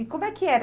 E como é que era?